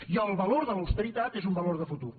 i el valor de l’austeritat és un valor de futur